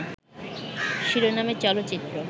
শিরোনামে চলচ্চিত্র